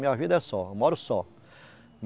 Minha vida é só, moro só.